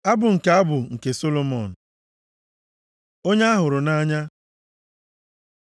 Abụ nke abụ nke Solomọn. Onye a hụrụ nʼanya